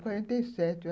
Quarenta e sete.